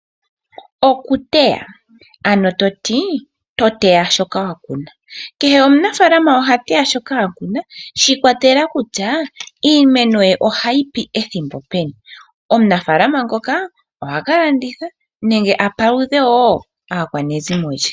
Okuteya, to teya shoka wa ku na. Kehe omunafaalama oha teya shoka a ku na shiikwatelela kutya iimeno ye ohayi pi ethimbo peni. Omunafaalama ngoka ohaka landitha nenge a pulithe wo aakwanezimo lye.